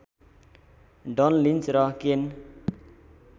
done Lynch र केन